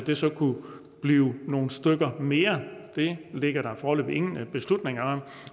det så kunne blive nogle stykker mere det ligger der foreløbig ingen beslutning om